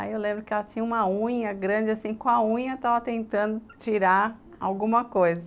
Aí eu lembro que ela tinha uma unha grande assim, com a unha estava tentando tirar alguma coisa.